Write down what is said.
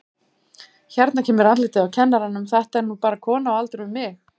Hérna kemur andlitið á kennaranum, þetta er nú bara kona á aldur við mig.